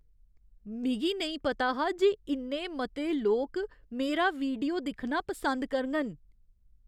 मिगी नेईं पता हा जे इन्ने मते लोक मेरा वीडियो दिक्खना पसंद करङन!